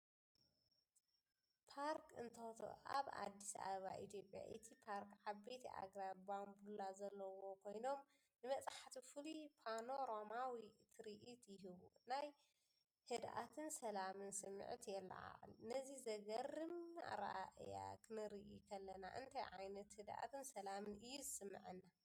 ፓርክ እንቶቶ ኣብ ኣዲስ ኣበባ ኢትዮጵያ። እቲ ፓርክ ዓበይቲ ኣግራብ ባምቡላ ዘለዎም ኮይኖም፡ ንበጻሕቲ ፍሉይ ፓኖራማዊ ትርኢት ይህቡ። ናይ ህድኣትን ሰላምን ስምዒት የለዓዕል። ነዚ ዘገርም ኣረኣእያ ክንርኢ ከለና እንታይ ዓይነት ህድኣትን ሰላምን እዩ ዝስምዓና?